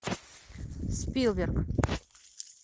спилберг